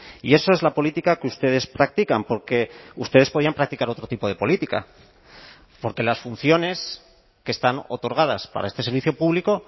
y eso es la política que ustedes practican porque ustedes podían practicar otro tipo de política porque las funciones que están otorgadas para este servicio público